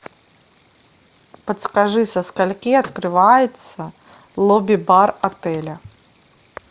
подскажи со скольки открывается лобби бар отеля